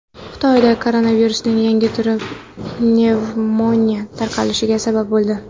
Xitoyda koronavirusning yangi turi pnevmoniya tarqalishiga sabab bo‘ldi.